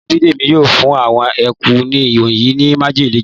Ìyá Bídèmí yóò fún àwọn eku wonyii ni májèlé jẹ